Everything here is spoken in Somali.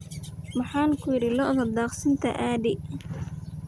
Maxaan kuyiri lo'odha daaksintaa aadix .